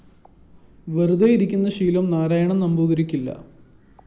വെറുതെ ഇരിക്കുന്ന ശീലം നാരായണന്‍ നമ്പൂതിരിക്കില്ല